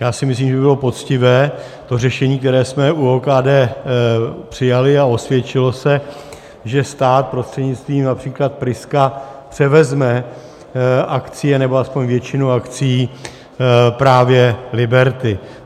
Já si myslím, že by bylo poctivé to řešení, které jsme u OKD přijali a osvědčilo se, že stát prostřednictvím například Priska převezme akcie nebo aspoň většinu akcií právě Liberty.